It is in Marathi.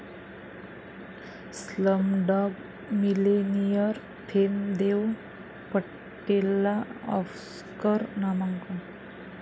स्लमडाॅग मिलेनियर'फेम देव पटेलला आॅस्कर नामांकन